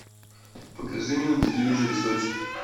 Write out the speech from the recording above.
покажи мне на телевизоре сочи